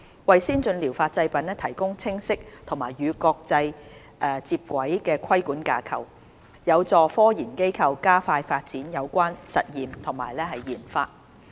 為先進療法製品提供清晰及與國際接軌的規管架構，有助科研機構加快發展有關實驗及研發。